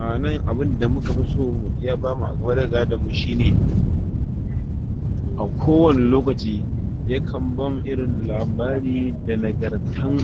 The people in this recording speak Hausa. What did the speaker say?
A nan abunda muka fi so, ya bamu a game da gadon mu, shine a ko wani lokaci ya kan bam irin labari, da nagartan